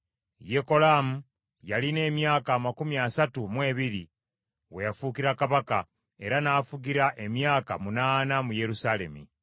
Yekolaamu yalina emyaka amakumi asatu mu ebiri we yafuukira kabaka, era n’afugira emyaka munaana mu Yerusaalemi.